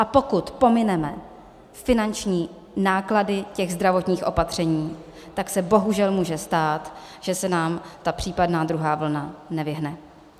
A pokud pomineme finanční náklady těch zdravotních opatření, tak se bohužel může stát, že se nám ta případná druhá vlna nevyhne.